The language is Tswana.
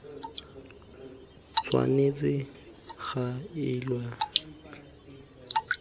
tshwanetse ga elwa tlhoko nako